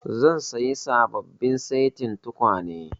Zan sayi sababbin setin tukwane